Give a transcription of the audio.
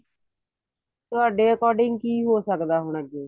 ਤੁਹਾਡੇ according ਕੀ ਹੋ ਸਕਦਾ ਹੁਣ ਅੱਗੇ